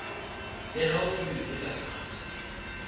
le haufi le la sars